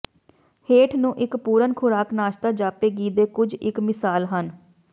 ਹੇਠ ਨੂੰ ਇੱਕ ਪੂਰਨ ਖੁਰਾਕ ਨਾਸ਼ਤਾ ਜਾਪੇਗੀ ਦੇ ਕੁਝ ਇੱਕ ਮਿਸਾਲ ਹਨ